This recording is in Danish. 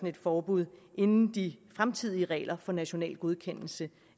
et forbud inden de fremtidige regler for national godkendelse